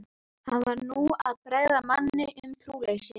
Hann var nú að bregða manni um trúleysi.